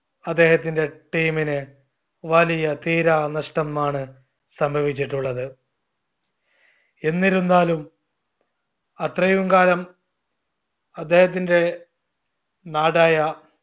അദ്ദേഹത്തിന്റെ team ന് വലിയ തീരാ നഷ്ടം ആണ് സംഭവിച്ചിട്ടുള്ളത്. എന്നിരുന്നാലും അത്രയും കാലം അദ്ദേഹത്തിന്റെ നാടായ